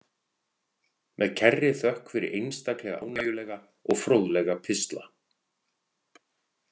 Með kærri þökk fyrir einstaklega ánægjulega og fróðlega pistla.